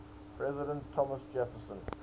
president thomas jefferson